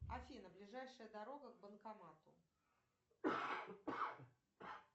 афина ближайшая дорога к банкомату